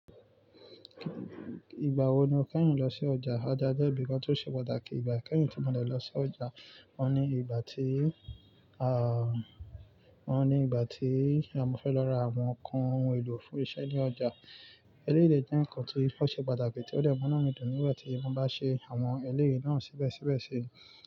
Ìgbà wo ni o fẹ́ rìn lọ sí ọjà? Ọjà jẹ́ ibi kan tó ṣe pàtàkì ìgbà kẹ́yìn tí mo dẹ̀ lọ sí ọjà. Wọ́n ní ìgbà tí, wọ́n ní ìgbà tí a mọ fẹ́ lọ ra àwọn nǹkan ohun èlò fún iṣẹ́ ní ọjà. Eléyìí lè jẹ́ nǹkan tí ó ṣe pàtàkì tí ó dẹ̀ mọ́ná mi dùn nígbà tí mo bá ṣe àwọn eléyìí náà síbẹ̀síbẹ̀ ṣe.